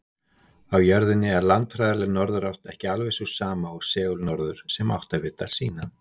Á jörðinni er landfræðileg norðurátt ekki alveg sú sama og segulnorður sem áttavitar sýna.